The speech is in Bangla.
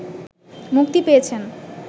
মুক্তি পেয়েছেন